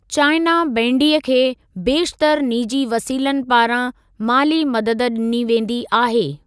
China बैंडी खे बेशितर निजी वसीलनि पारां माली मददु डि॒नी वेंदी आहे।